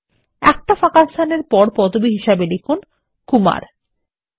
একটা স্পেস এর পর পদবি হিসাবে কুমার লিখুন